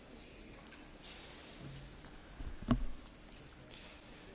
Elnök asszony, biztos úr, tisztelt képviselők!